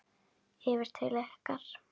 Yfir til ykkar?